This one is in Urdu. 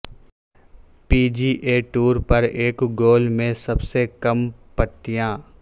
پی جی اے ٹور پر ایک گول میں سب سے کم پٹیاں